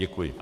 Děkuji.